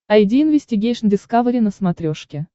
айди инвестигейшн дискавери на смотрешке